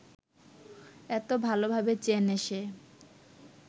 এত ভালভাবে চেনে সে